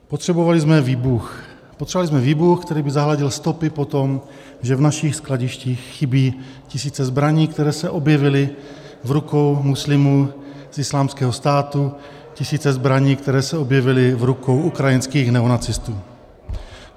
Potřebovali jsme výbuch, který by zahladil stopy po tom, že v našich skladištích chybí tisíce zbraní, které se objevily v rukou muslimů z Islámského státu, tisíce zbraní, které se objevily v rukou ukrajinských neonacistů.